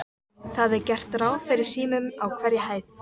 Það er gert ráð fyrir símum á hverri hæð.